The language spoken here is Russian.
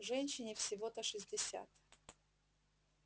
женщине всего-то шестьдесят